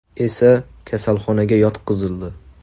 esa kasalxonaga yotqizildi.